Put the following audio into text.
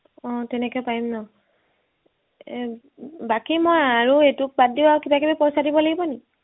অ তেনেকে পাৰিম ন এৰ বাকী মই আৰু এইটো বাদ দি আৰু কিবা কিবি পইচা দিব লাগিব নি